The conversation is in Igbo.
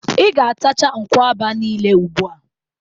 I ga-atacha nkwụaba niile ugbụa!